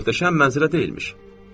Möhtəşəm mənzərə deyilmiş.